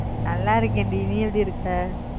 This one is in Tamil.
நல்லாருக்கன்டி நீ எப்படி இருக்க